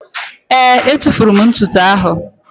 Ee, etufuru m ntụtụ áhụ̀.